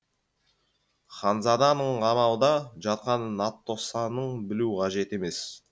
ханзаданың қамауда жатқанын атоссаның білуі қажет емес